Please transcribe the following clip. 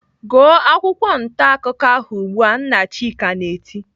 "Gụọ akwụkwọ ntaakụkọ ahụ ugbu a!" Nna Chika na-eti.